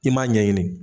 I m'a ɲɛɲini